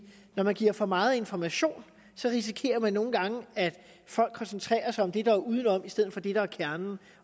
når man giver for meget information risikerer man nogle gange at folk koncentrerer sig om det der er udenom i stedet for det der er kernen